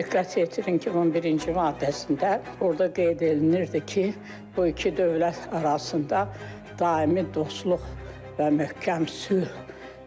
Diqqət yetirin ki, 11-ci maddəsində orda qeyd olunurdu ki, bu iki dövlət arasında daimi dostluq və möhkəm sülh,